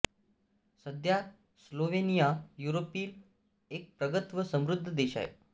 सध्या स्लोव्हेनिया युरोपील एक प्रगत व समृद्ध देश आहे